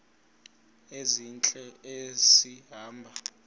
ezintle esi hamba